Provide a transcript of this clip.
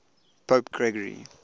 pope gregory